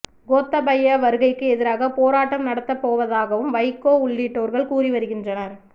கோத்தபய வருகைக்கு எதிராக போராட்டம் நடத்தப் போவதாகவும் வைகோ உள்ளிட்டோர்கள் கூறி வருகின்றனர்